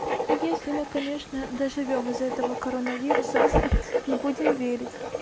если мы конечно доживём из-за этого коронавируса ха-ха но будем верить